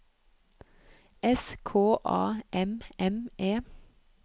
S K A M M E